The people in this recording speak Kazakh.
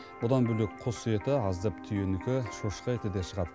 бұдан бөлек құс еті аздап түйенікі шошқа еті де шығады